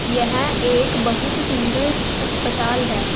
यह एक बहुत सुंदर अस्पताल है।